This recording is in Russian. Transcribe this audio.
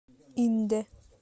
индэ